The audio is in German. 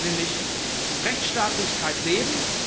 nämlich Rechtsstaatlichkeit leben.